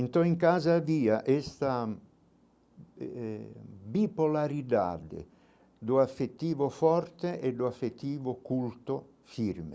Então, em casa via essa eh bipolaridade do afetivo forte e do afetivo culto firme.